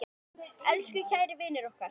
Elsku kæri vinur okkar.